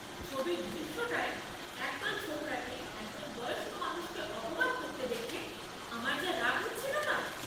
ছবির দৃশ্যটায় একদল ছোকরাকে একজন বয়স্ক মানুষকে অপমান করতে দেখে আমার যা রাগ হচ্ছিল না!